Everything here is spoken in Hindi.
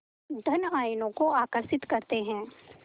धन आयनों को आकर्षित करते हैं